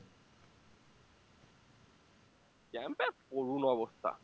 camp এ করুন অবস্থা